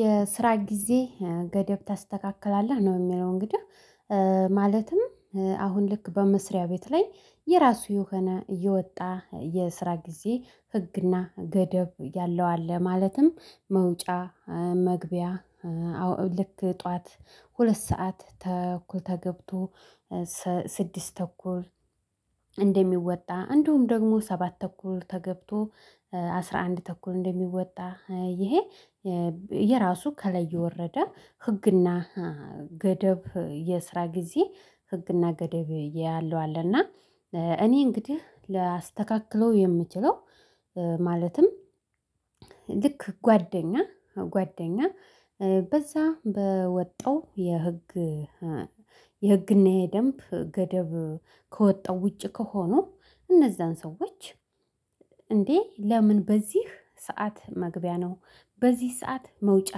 የስራ ጊዜ ገደብ ታስተካክላለህ ነው የሚለው እንግዲህ ማለትም አሁን ልክ በመስሪያ ቤት ላይ የራሱ የሆነ የወጣ የስራ ጊዜ ህግና ገደብ ያለው አለ። ማለትም መውጫ መግቢያ ልክ ጠዋት ሁለት ሰዓት ተኩል ተገብቶ ስድስት ተኩል እንደሚወጣ እንደውም ደግሞ ሰባት ተኩል ተገብቶ አስራ አንድ ተኩል እንደሚወጣ ይሄ። የራሱ ከላይ የወረደ ህግና ገደብ የስራ ጊዜ ህግና ገደብ ያለው አለና እኔ እንግዲህ ላስተካክለው የምችለው። ማለትም ልክ ጓደኛ ጓደኛ በዛ በወጣው የህግ የህግና የደንብ ገደብ ከወጣው ውጪ ከሆኑ እነዛን ሰዎች እንዴ ለምን በዚህ ሰዓት መግቢያ ነው? በዚህ ሰዓት መውጫ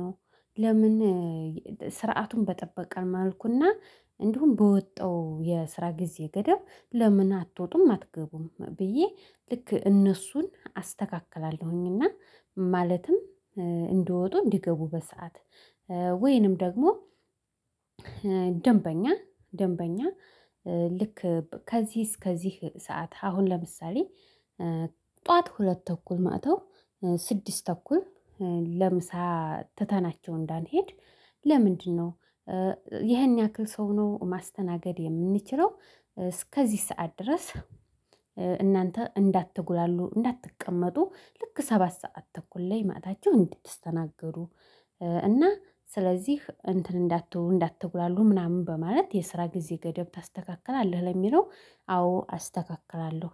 ነው? ለምን ስርዓቱን በጠበቀ መልኩ እና እንዲሁም በወጣው የስራ ጊዜ ገደብ ለምን አትወጡም አትገቡም? ብዬ ልክ እነሱን አስተካክላለሁኝና። ማለትም እንደወጡ እንዲገቡ በሰአት ወይንም ደግሞ ደንበኛ ልክ ከዚህ እስከዚህ ሰዓት አሁን ለምሳሌ ጠዋት ሁለት ተኩል መጥተው ስድስት ተኩል ለምሳ ትተናቸው እንዳንሄድ ለምንድ ነው? ይሄን ያክል ሰው ነው ማስተናገድ የምንችለው። እስከዚህ ሰዓት ድረስ እናንተ እንዳትጉላሉ እንዳትቀመጡ ልክ ሰባት ሰዓት ተኩል ላይ መጥታችሁ እንድትስተናገዱ እና ስለዚህ እንትን እንዳትሉ እንዳትጉላሉ ምናምን በማለት የስራ ጊዜ ገደብ ታስተካክላለህ ለሚለው አዎ አስተካክላለሁ